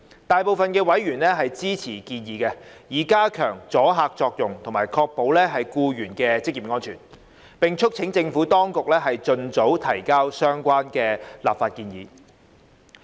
大部分委員支持建議，以加強阻嚇作用及確保僱員的職業安全，並促請政府當局盡早提交相關立法建議。